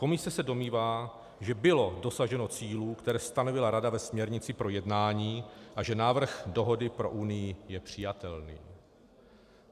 Komise se domnívá, že bylo dosaženo cílů, které stanovila Rada ve směrnici pro jednání, a že návrh dohody pro Unii je přijatelný.